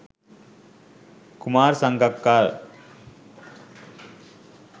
kumar sangakkara